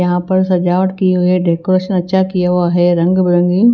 यहां पर सजावट की हुई है डेकोरेशन अच्छा किया हुआ है रंग बिरंगी--